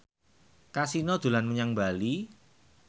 Kasino dolan menyang Bali